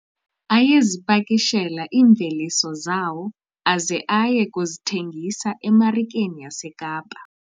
Ayezipakishela iimveliso zawo aze aye kuzithengisa emarikeni yaseKapa.